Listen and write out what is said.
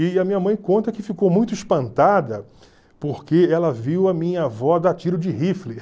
E a minha mãe conta que ficou muito espantada porque ela viu a minha avó dar tiro de rifle.